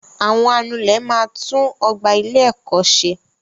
Àwọn anulẹ̀ máa tún ọgbà ilé ẹ̀kọ́ ṣẹ.